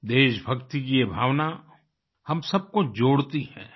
देशभक्ति की ये भावना हम सबको जोड़ती है